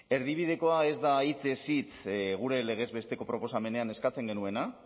erdibidekoa ez da hitzez hitz gure legez besteko proposamenean eskatzen genuena